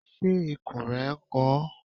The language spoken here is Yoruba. Ṣé ikùn rẹ n kan ọ?